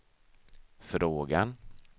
frågan